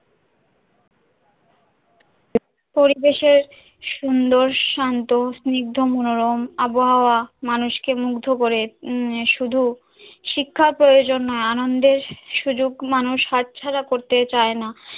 পরিবেশের সুন্দর শান্ত স্নিগ্ধ মনোরম আবহাওয়া, মানুষকে মুগ্ধ করে আহ শুধু শিক্ষার প্রয়োজন না আনন্দের সুযোগ মানুষ হাতছাড়া করতে চায়না,